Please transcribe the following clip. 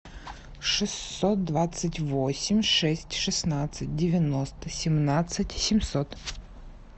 шестьсот двадцать восемь шесть шестнадцать девяносто семнадцать семьсот